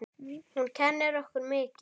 Hún kennir okkur mikið.